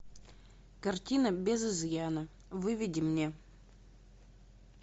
картина без изъяна выведи мне